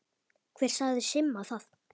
Hver sagði Simma það?